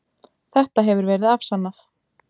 Þetta hefur verið afsannað.